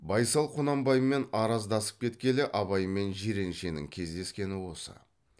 байсал құнанбаймен араздасып кеткелі абай мен жиреншенің кездескені осы